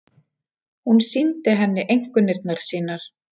Hún sýndi henni einkunnirnar sínar.